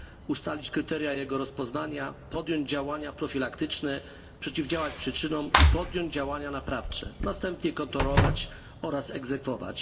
ustalić kryteria jego rozpoznania, podjąć działania profilaktyczne, przeciwdziałać przyczynom i podjąć działania naprawcze, a następnie kontrolować oraz egzekwować.